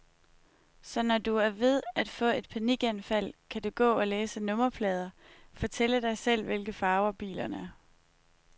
Så når du er ved at få et panikanfald, kan du gå og læse nummerplader, fortælle dig selv, hvilke farver bilerne har.